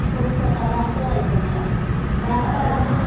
पण आता माझी मुलगीच मला खूप एन्टरटेन करते.